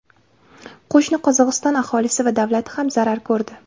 Qo‘shni Qozog‘iston aholisi va davlati ham zarar ko‘rdi.